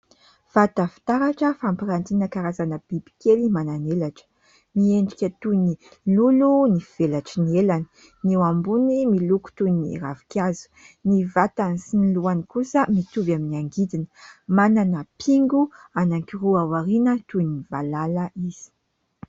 Vata fitaratra fampirantiana karazana bibikely manan'elatra. Miendrika toy ny lolo ny velatry ny elany, ny eo ambony miloko toy ny ravinkazo, ny vatany sy ny lohany kosa mitovy amin'ny angidina manana pingo anankiroa aoriana toy ny valala izy.